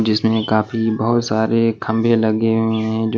जिसमें काफी बहुत सारे खंबे लगे हुए हैं जो --